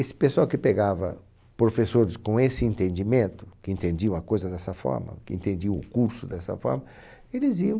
Esse pessoal que pegava professores com esse entendimento, que entendiam a coisa dessa forma, que entendiam o curso dessa forma, eles iam